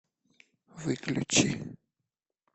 выключи